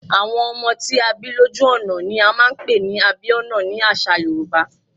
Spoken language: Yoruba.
Àwọn ọmọ tí a bí lójú ọ̀nà ni a máa ń pè ní Abíọ́nà ni àṣà Yorùbá.